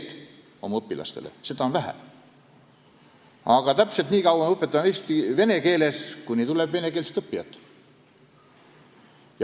Aga me õpetame vene keeles täpselt nii kaua, kuni meile tuleb venekeelseid õppijaid.